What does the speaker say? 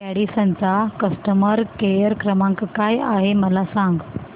Radisson चा customer care क्रमांक काय आहे मला सांगा